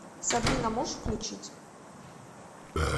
сабрина можешь включить